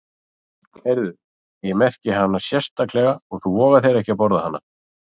Heyrðu, ég merki hana sérstaklega og þú vogar þér ekki að borða hana.